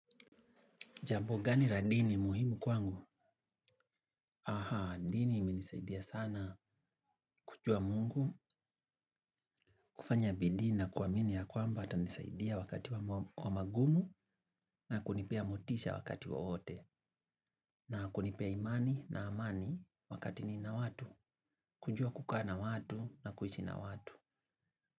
Jambo gani la dini muhimu kwangu. Aha, dini imenisaidia sana kujua Mungu, kufanya bidii ni na kuamini ya kwamba atanisaidia wakati wa magumu na kunipea motisha wakati wowote. Na kunipea imani na amani wakati nina watu. Kujua kukaa na watu na kuishi na watu.